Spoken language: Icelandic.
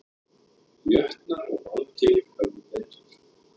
Jötnar og Valkyrjur höfðu betur